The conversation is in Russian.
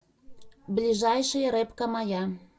ближайший рыбка моя